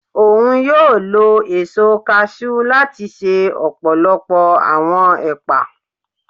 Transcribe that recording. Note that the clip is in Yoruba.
Oun yóò lò eso cashew lati ṣe ọpọlọpọ awọn epa